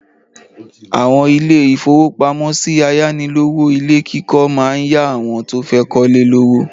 Àwọn ilé-ìfowópamọ́sí ayánilówó ilé kíkọ́ máa ń yá àwọn tó fẹ́ kọ́lé lówó.